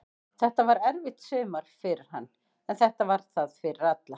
Þetta var erfitt sumar fyrir hann, en þetta var það fyrir alla.